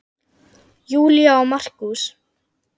Júlía og Markús.